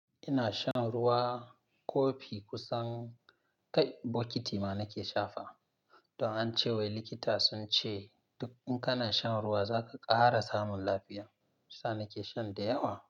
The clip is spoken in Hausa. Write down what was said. Ina shan ruwa kofi kusan kai bokiti ma nake sha fa. Don ance wai likita sun ce duk in kana shan ruwa za ka ƙara samun lafiya. Sa nake shan da yawa.